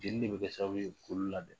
Jeli bɛ kɛ sababu ye k'olu labɛn